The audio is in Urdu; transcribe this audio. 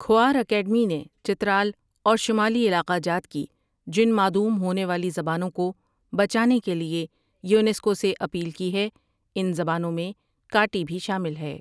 کھوار اکیڈمی نے چترال اور شمالی علاقہ جات کی جن معدوم ہونے زبانوں کو بچانے کے لیے یونیسکو سے اپیل کی ہے ان زبانوں میں کاٹی بھی شامل ہے